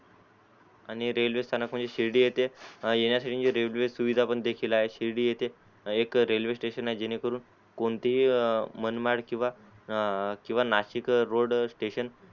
आणि रेल्वे स्थानक म्हणजे शिर्डी येथे येण्यासाठी रेल्वे सुविधा पण देखील आहे शिर्डी येते एक रेल्वे स्टेशन आहे जेणे करून कोणते ही मनमाळ किवा नाशिक रोड स्टेशन